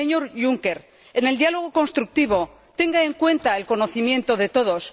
Y, señor Juncker, en el diálogo constructivo, tenga en cuenta el conocimiento de todos.